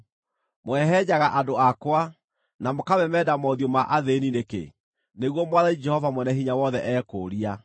“Mũhehenjaga andũ akwa, na mũkamemenda mothiũ ma athĩĩni nĩkĩ?” nĩguo Mwathani Jehova Mwene-Hinya-Wothe ekũũria.